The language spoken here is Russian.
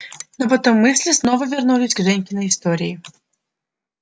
но потом мысли снова вернулись к женькиной истории